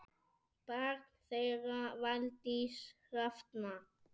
Barn þeirra Valdís Hrafna.